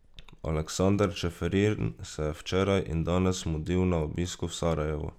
Aleksander Čeferin se je včeraj in danes mudil na obisku v Sarajevu.